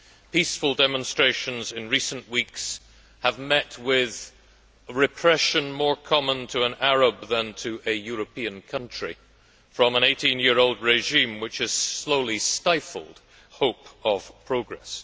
Peaceful demonstrations in recent weeks have met with repression more common to an Arab than to a European country, from an 18 year old regime which has slowly stifled hope of progress.